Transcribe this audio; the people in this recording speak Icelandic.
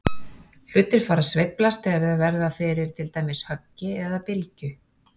Hlutir fara að sveiflast þegar þeir verða fyrir til dæmis höggi eða bylgju.